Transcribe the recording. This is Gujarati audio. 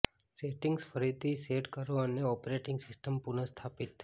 સેટિંગ્સ ફરીથી સેટ કરો અને ઓપરેટિંગ સિસ્ટમ પુનઃસ્થાપિત